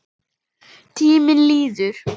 Tíminn líður.